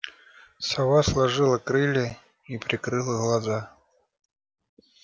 сова сложила крылья и прикрыла глаза